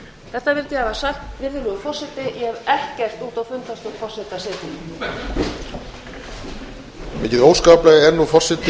þetta vildi ég hafa sagt virðulegur forseti ég hef ekkert út á fundarstjórn forseta að setja